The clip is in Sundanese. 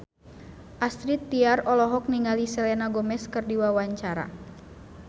Astrid Tiar olohok ningali Selena Gomez keur diwawancara